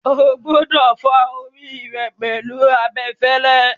O gbúdọ̀ fá orí rẹ pẹ̀lú abẹfẹ́lẹ́.